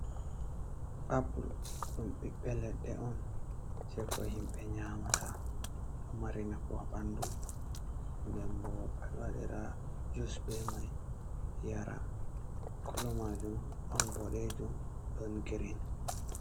Apple: ɗum ɓiɓɓe ledde on je ko himɓe nyamata. Ɗo mari nafu bo ha ɓandu. Den bo, ɓeɗo waɗira juice be mai yara. Color majum don boɗejum, don green.